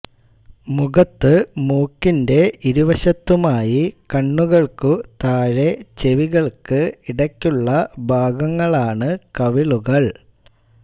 മുഖത്ത് മൂക്കിന്റെ ഇരുവശത്തുമായി കണ്ണുകൾക്ക് താഴെ ചെവികൾക്ക് ഇടയ്ക്കുള്ള ഭാഗങ്ങളാണ് കവിളുകൾ